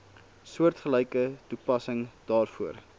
soortgelyke toepassing daarvoor